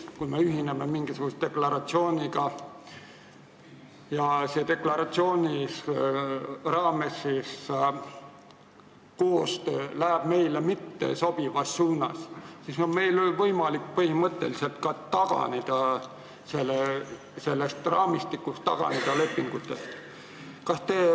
Kui me ühineme mingisuguse deklaratsiooniga ja deklaratsiooni raames toimuv koostöö läheb meile mittesobivas suunas, siis suveräänina on meil võimalik põhimõtteliselt ka taganeda sellest raamistikust, taganeda lepingutest.